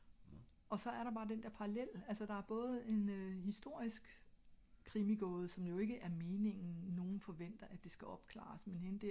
og så er der også bare den der parallel altså der er både en historisk krimi gåde som jo ikke er meningen nogle forventer at det skal opklares